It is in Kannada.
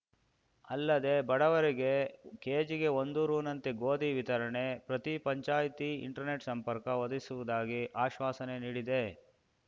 ಅಲ್ಲದೆ ಬಡವರಿಗೆ ಕೇಜಿಗೆ ಒಂದು ರುನಂತೆ ಗೋಧಿ ವಿತರಣೆ ಪ್ರತಿ ಪಂಚಾಯಿತಿ ಇಂಟರ್ನೆಟ್‌ ಸಂಪರ್ಕ ಒದಗಿಸುವುದಾಗಿ ಆಶ್ವಾಸನೆ ನೀಡಿದೆ